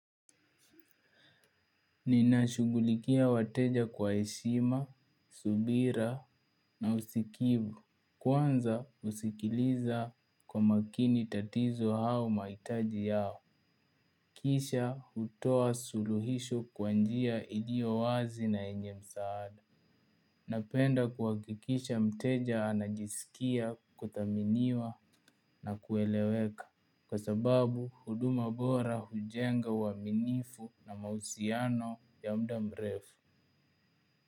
Ninashughulikia wateja kwa heshima, subira na usikivu. Kwanza husikiliza kwa makini tatizo au mahitaji yao. Kisha hutoa suluhisho kwa njia ilio wazi na yenye msaada. Napenda kuhakikisha mteja anajisikia kuthaminiwa na kueleweka. Kwa sababu huduma bora hujenga uaminifu na mahusiano ya mda mrefu.